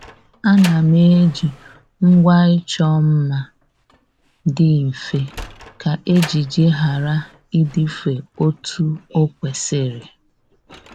Ànà m eji ngwa ịchọ mma dị mfe kà ejiji ghara ịdịfe otu o kwesịrị